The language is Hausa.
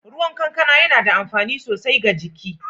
Ruwan guna yana da amfani sosai ga jiki